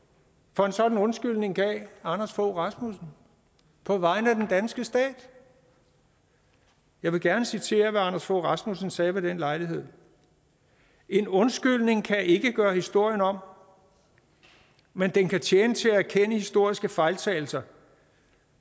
for en sådan undskyldning gav anders fogh rasmussen på vegne af den danske stat jeg vil gerne citere hvad anders fogh rasmussen sagde ved den lejlighed en undskyldning kan ikke gøre historien om men den kan tjene til at erkende historiske fejltagelser